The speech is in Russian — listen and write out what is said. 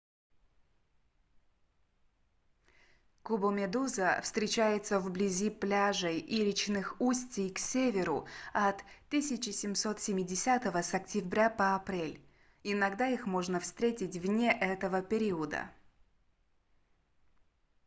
кубомедуза встречается вблизи пляжей и речных устий к северу от 1770 с октября по апрель иногда их можно встретить вне этого периода